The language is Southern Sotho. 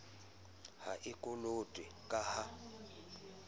ha e kolotwe ka ha